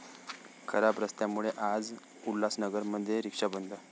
खराब रस्त्यांमुळे आज उल्हासनगरमध्ये 'रिक्षा बंद'